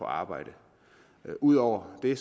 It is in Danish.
arbejde ud over det